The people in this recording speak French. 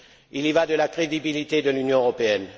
Il y va de la crédibilité de l'Union européenne.